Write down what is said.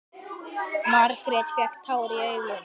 Margrét fékk tár í augun.